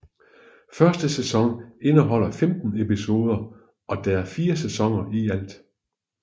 Første sæson indeholder 15 episoder og der er fire sæsoner i alt